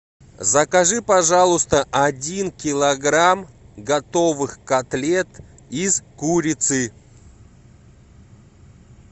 закажи пожалуйста один килограмм готовых котлет из курицы